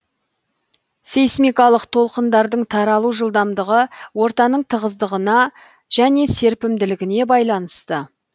сейсмикалық толқындардың таралу жылдамдығы ортаның тығыздығына және серпімділігіне байланысты